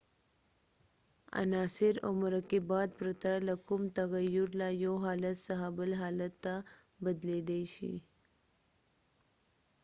عناصر او مرکبات پرته له کوم تغیر له یو حالت څخه بل حالت ته بدلیدای شي